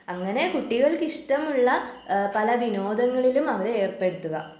അങ്ങനെ കുട്ടികൾക്കിഷ്ടമുള്ള ഏഹ് പല വിനോദങ്ങളിലും അവരെ ഏർപ്പെടുത്തുക.